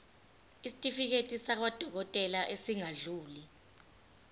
isitifiketi sakwadokodela esingadluli